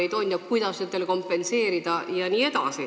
Arutatakse, kuidas neile kõike kompenseerida.